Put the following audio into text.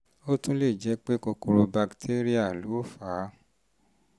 ó tún lè jẹ́ pé kòkòrò bakitéríà ló fà á